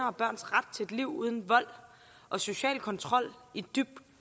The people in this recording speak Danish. og børns ret til et liv uden vold og social kontrol i dybt